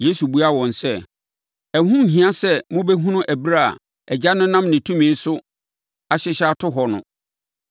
Yesu buaa wɔn sɛ, “Ɛho nhia sɛ mobɛhunu ɛberɛ a Agya no nam ne tumi so ahyehyɛ ato hɔ no.